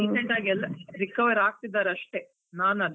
Recent ಆಗಿ ಎಲ್ಲ recover ಆಗ್ತಿದ್ದರೆ ಅಷ್ಟೆ, ನಾನ್ ಅದಕ್ಕೆ.